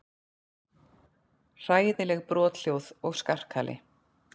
Hræðileg brothljóð og skarkali.